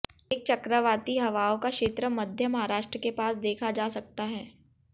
एक चक्रवाती हवाओं का क्षेत्र मध्य महाराष्ट्र के पास देखा जा सकता है